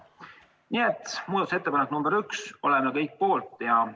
Nii et muudatusettepanek nr 1 – oleme kõik poolt!